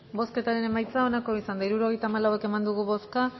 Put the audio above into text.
bozketaren emaitza onako izan da hirurogeita hamalau eman dugu bozka